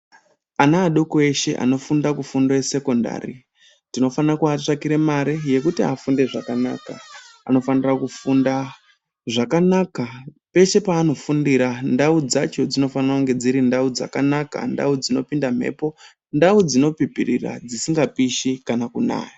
Ana adoko eshe anofunda kufundo ye sekondari tinofane kuvatsvakire mare yekuti afunde zvakanaka, anofanira kufunda zvakanaka peshe paanofundira ndau dzacho dzinofana kunge dziri ndau dzakanaka ndau dzinopinda mhepo ndau dzinopipirira dzisinga pishi kana kunaya.